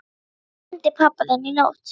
Mig dreymdi pabba þinn í nótt.